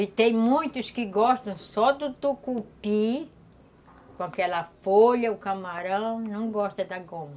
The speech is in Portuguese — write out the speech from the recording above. E tem muitos que gostam só do tucupi, com aquela folha, o camarão, não gostam da goma.